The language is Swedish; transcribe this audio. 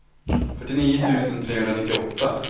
fyrtionio tusen trehundranittioåtta